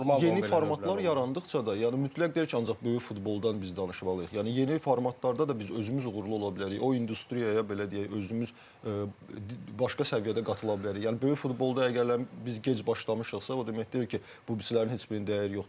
Yəni yeni formatlar yarandıqca da, yəni mütləq deyil ki, ancaq böyük futboldan biz danışmalıyıq, yəni yeni formatlarda da biz özümüz uğurlu ola bilərik, o industriyaya belə deyək, özümüz başqa səviyyədə qatıla bilərik, yəni böyük futbolda əgər biz gec başlamışıqsa, o demək deyil ki, bubisilərin heç birinin dəyəri yoxdur.